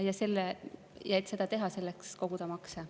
Ja et seda teha, selleks tuleb koguda makse.